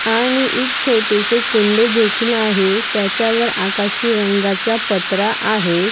आणि एक छोटेसे कुंडे देखील आहे आणि त्याच्यावर आकाशी रंगाचा पत्रा आहे.